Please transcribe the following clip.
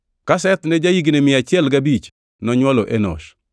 Ka Seth ne ja-higni mia achiel gabich, nonywolo Enosh.